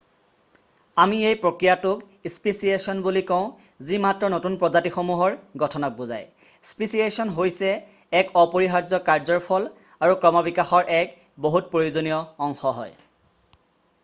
আমি এই প্ৰক্ৰিয়াটোক স্পেচিয়েছন বুলি কওঁ যি মাত্ৰ নতুন প্ৰজাতিসমূহৰ গঠনক বুজাই৷ স্পেচিয়েছন হৈছে এক অপৰিহাৰ্য্য কাৰ্য্যৰ ফল আৰু ক্ৰমবিকাশৰ এক বহুত প্ৰয়োজনীয় অংশ হয়৷